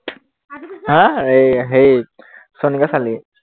হা এৰ হেৰিত সোণকাছালিত